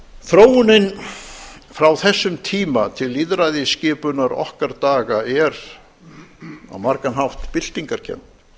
landshluta þróunin frá þessum tíma til lýðræðisskipunar okkar daga er á margan hátt byltingarkennd